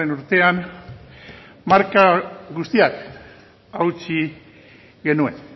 urtean marka guztiak hautsi genuen